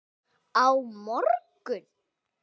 Á morgun?